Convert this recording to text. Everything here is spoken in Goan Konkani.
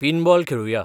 पिनबॉल खेळूया